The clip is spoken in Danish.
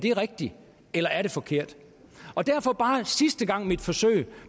er rigtige eller forkerte derfor bare for sidste gang mit forsøg